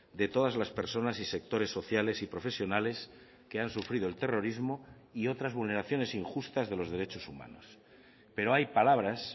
de todas las personas y sectores sociales y profesionales que han sufrido el terrorismo y otras vulneraciones injustas de los derechos humanos pero hay palabras